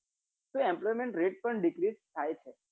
તો emploment rate પણ dicrise થાય છે